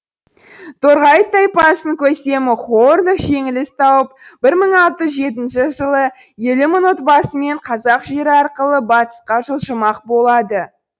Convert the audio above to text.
торғауыт тайпасының көсемі хо өрлүг жеңіліс тауып бір мың алты жүз жетінші жылы елу мың отбасымен қазақ жері арқылы батысқа жылжымақ болады